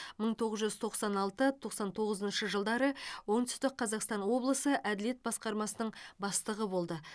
мың тоғыз жүз тоқсан алты тоқсан тоғызыншы жылдары оңтүстік қазақстан облысы әділет басқармасының бастығы болды